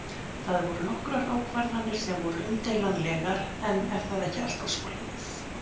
Það voru nokkrar ákvarðanir sem voru umdeilanlegar en er það ekki alltaf svoleiðis?